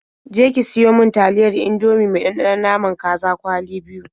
Je ki siyo mi taliyar Indomie mai ɗanɗanon naman kaza kwali biyu.